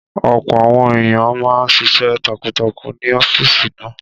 Ọ̀pọ̀ àwọn èèyàn máa n ṣiṣẹ́ takuntakun ní ọ́fìsì náà